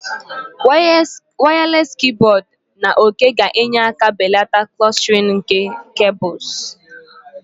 Wireless keyboard na òké ga-enyere aka belata clustering nke cables